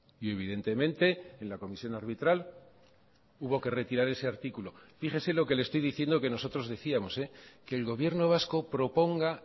y evidentemente en la comisión arbitral hubo que retirar ese articulo fíjese lo que le estoy diciendo que nosotros decíamos que el gobierno vasco proponga